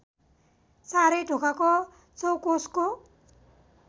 चारै ढोकाको चौकोसको